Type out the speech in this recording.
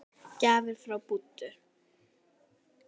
Gjafir frá Búddu.